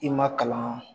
I ma kalan